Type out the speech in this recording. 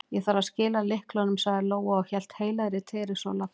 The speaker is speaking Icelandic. Ég þarf að skila lyklunum, sagði Lóa og hélt heilagri Teresu á lofti.